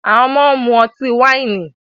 Awọn ọmọde n mu ọti-waini